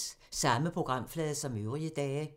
Samme programflade som øvrige dage